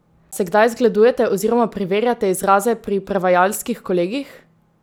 Se kdaj zgledujete oziroma preverjate izraze pri prevajalskih kolegih?